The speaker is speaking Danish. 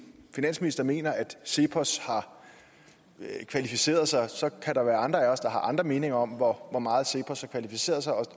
finansminister mener at cepos har kvalificeret sig og så kan der være andre af os der har andre meninger om hvor meget cepos har kvalificeret sig og